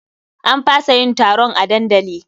An fasa yin taron a dandali.